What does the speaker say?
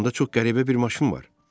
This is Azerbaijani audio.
Onda çox qəribə bir maşın var.